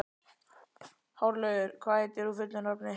Hárlaugur, hvað heitir þú fullu nafni?